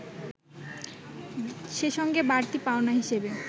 সে সঙ্গে বাড়তি পাওনা হিসেবে